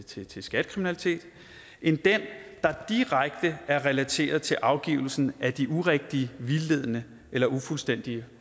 til til skattekriminalitet end den der direkte er relateret til afgivelsen af de urigtige vildledende eller ufuldstændige